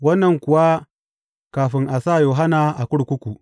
Wannan kuwa kafin a sa Yohanna a kurkuku.